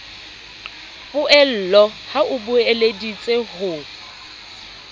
poello ha o beeleditse ho